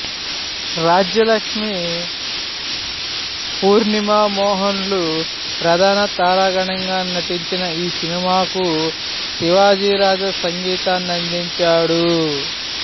రాజ్యలక్ష్మి పూర్ణిమ మోహన్ లు ప్రధాన తారాగణంగా నటించిన ఈ సినిమాకు శివాజీరాజా సంగీతాన్నందించాడు